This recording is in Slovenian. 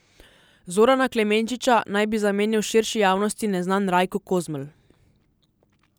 Zorana Klemenčiča naj bi zamenjal širši javnosti neznan Rajko Kozmelj.